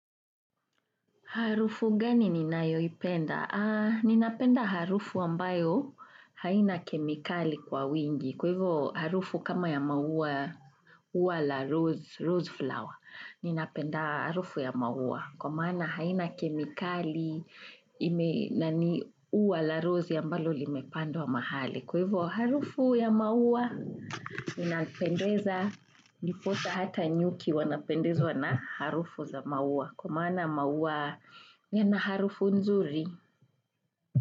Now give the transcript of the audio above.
Harufu gani ninayoipenda? Ninapenda harufu ambayo haina kemikali kwa wingi. Kwa hivyo harufu kama ya maua, uwa la rose, rose flower. Ninapenda harufu ya maua, kwa maana haina kemikali. Na ni ua la rose ambalo limepandwa mahali. Kwa hivyo harufu ya maua, linapendeza, niposa hata nyuki wanapendezwa na harufu za maua. Kwa maana maua yana harufu nzuri.